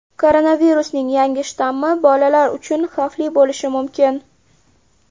Koronavirusning yangi shtammi bolalar uchun xavfli bo‘lishi mumkin.